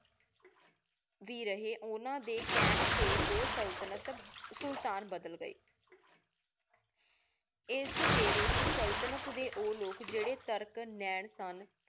ਦੇ ਰਹੀ ਓਹਨਾ ਦੇ ਕਹਨ ਟੀ ਦੋ ਸੁਲ੍ਤ੍ਨਤ ਸੁਲਤਾਨ ਬਦਲ ਗਏ ਇਸ ਵੇਲੀ ਵਿਚ ਸੁਲ੍ਤ੍ਨਤ ਦੇ ਓਹ ਲੋਕ ਜੇਰੀ ਤੁਰਕ ਨੇੰ ਸਨ